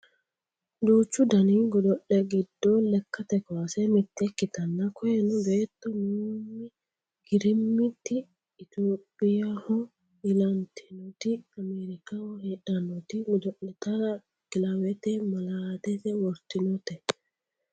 duuchu dani godo'le gidd lekkate kaase mitte ikkitanna koyeno beetto naomi girmiti itiyophiyaaho ilantinoti ameerikaho heedhannoti godo'litara kilawete malaatese wortinote